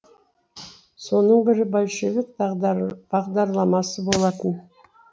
соның бірі большевик бағдарламасы болатын